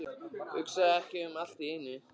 Hugsa ekki um allt í einu.